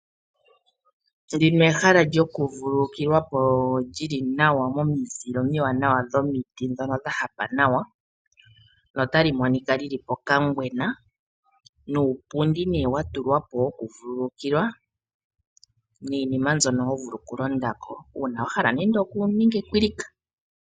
Ndino ehala lyoku vululukilwapo lyili nawa momizile omiwanawa dhomiti ndhono dhahapa nawa, no tali monika lili po kangwena nuupundi nee watulwapo woku vukulukilwa, niinima ndjono hovulu oku londako uuna wahala nenge oku ninga ekwilika.